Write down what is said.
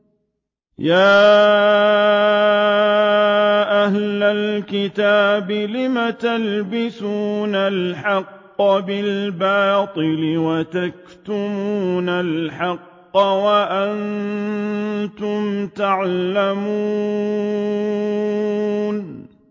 يَا أَهْلَ الْكِتَابِ لِمَ تَلْبِسُونَ الْحَقَّ بِالْبَاطِلِ وَتَكْتُمُونَ الْحَقَّ وَأَنتُمْ تَعْلَمُونَ